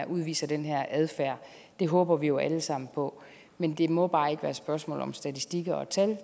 udviser den her adfærd det håber vi jo alle sammen på men det må bare ikke være et spørgsmål om statistikker og tal det